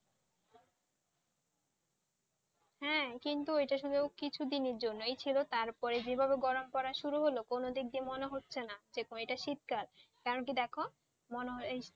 হ্যাঁ কিন্তু এইটা শুধু কিছুদিনের জন্য ছিল তারপর যেইভাবে গরম পড়া শুরু হল কোন দিক দিয়েই মনে হচ্ছে না এটা শীতকাল কারণ কি দেখো,